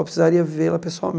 Eu precisaria ver lá